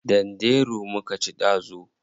Danderu muka ci dazu.